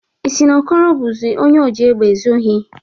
Ị si na Okoro bụzie onye oji egbụ ezu ohi?